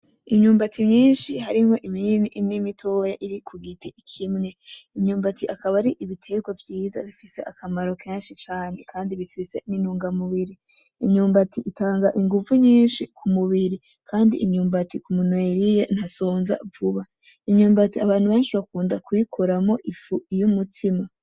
Imyumbati myinshi harimwo iminini n'imitoya iri ku giti kimwe . Imyumbati akaba ari ibiterwa vyiza bifise akamaro kenshi cane kandi bifise n'intungamubiri. Imyumbati itanga inguvu nyinshi ku mubiri. Kandi imyumbati umuntu yayiriye ntasonza vuba. Imyumbati abantu benshi bakunda kuyikoramwo ifu y'umutsima.